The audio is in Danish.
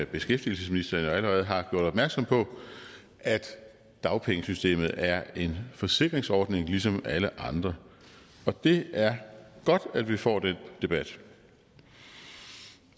beskæftigelsesministeren allerede har gjort opmærksom på at dagpengesystemet er en forsikringsordning ligesom alle andre og det er godt at vi får den debat